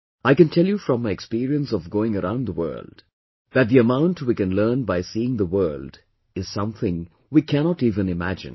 I can tell you from my experience of going around the world, that the amount we can learn by seeing the world is something we cannot even imagine